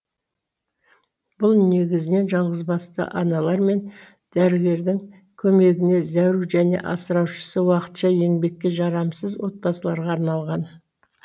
бұл негізінен жалғызбасты аналар мен дәрігердің көмегіне зәру және асыраушысы уақытша еңбекке жарамсыз отбасыларға арналған